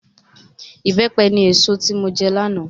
Ìbẹ́pẹ ni èso tí mo jẹ lánàá